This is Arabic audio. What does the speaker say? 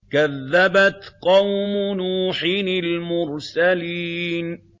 كَذَّبَتْ قَوْمُ نُوحٍ الْمُرْسَلِينَ